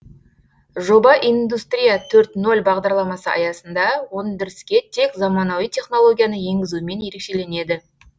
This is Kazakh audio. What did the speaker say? жоба индустрия төрт нөл бағдарламасы аясында өндіріске тек заманауи технологияны енгізумен ерекшеленеді